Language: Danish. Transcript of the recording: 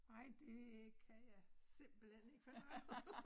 Nej det kan jeg simpelthen ikke fordrage